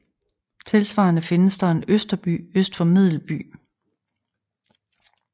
Tilsvarende findes der en Østerby øst for Medelby